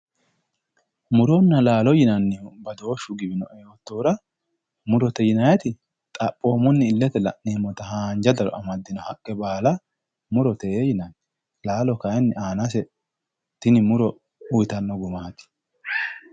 Muronna laalo yinayhu badooshshu giwinoe yoottohura murote yinayti xaphoomunni illete la'nayta haanja daro amaddino haqqe baala murote yinanni laalo kayinni aanase tini muro uyitanno gumaati